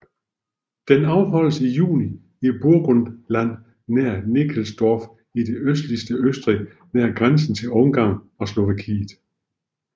Den afholdes i juni i Burgenland nær Nickelsdorf i det østligste Østrig nær grænsen til Ungarn og Slovakiet